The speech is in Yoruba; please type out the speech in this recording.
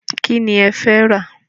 Kíni ẹ̀ fẹ́ rà?